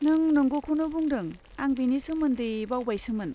नों नंगौखौनो बुंदों, आं बेनि सोमोन्दै बावबावबायसोमोन।